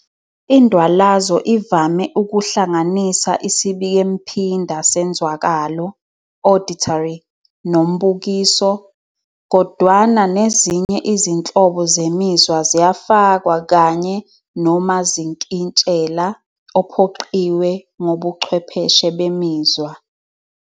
Indwalazo ivame ukuhlanganisa isibikemphinda senzwakalo "auditory" nombukiso, kodwana nezinye izinhlobo zemizwa ziyafakwa kanye nomazinkintshela ophoqiwe ngobuchwepheshe bemizwa.